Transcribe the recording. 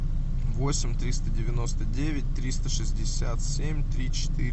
восемь триста девяносто девять триста шестьдесят семь три четыре